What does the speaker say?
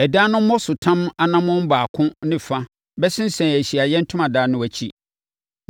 Ɛdan no mmɔsotam anammɔn baako ne fa bɛsensɛn Ahyiaeɛ Ntomadan no akyi,